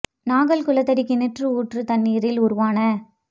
நாகல் குளத்தடி கிணற்று ஊற்றுத் தண்ணீரில் உருவான